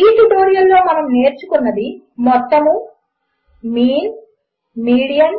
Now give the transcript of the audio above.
ఈ ట్యుటోరియల్లో మనము నేర్చుకున్నది 1 మొత్తము మీన్ మీడియన్